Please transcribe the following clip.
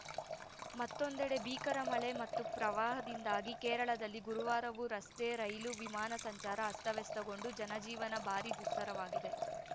ಮತ್ತೊಂದೆಡೆ ಭೀಕರ ಮಳೆ ಮತ್ತು ಪ್ರವಾಹದಿಂದಾಗಿ ಕೇರಳದಲ್ಲಿ ಗುರುವಾರವೂ ರಸ್ತೆ ರೈಲು ವಿಮಾನ ಸಂಚಾರ ಅಸ್ತವ್ಯಸ್ತಗೊಂಡು ಜನಜೀವನ ಭಾರಿ ದುಸ್ತರವಾಗಿದೆ